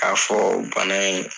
K'a fɔ bana in